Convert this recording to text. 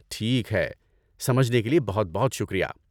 ٹھیک ہے۔ سمجھنے کے لیے بہت بہت شکریہ!